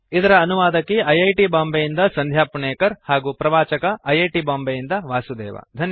httpspoken tutorialorgNMEICT Intro ಇದರ ಅನುವಾದಕಿ I I T Bombay ಯಿಂದ ಸಂಧ್ಯಾ ಪುಣೇಕರ್ ಹಾಗೂ ಪ್ರವಾಚಕ ಐ ಐ ಟಿ ಬಾಂಬೆಯಿಂದ ವಾಸುದೇವ